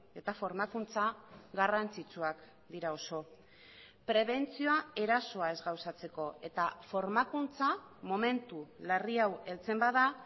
eta formakuntza garrantzitsuak dira oso prebentzioa erasoa ez gauzatzeko eta formakuntza momentu larri hau heltzen bada